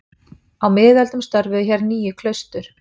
Á miðöldum störfuðu hér níu klaustur.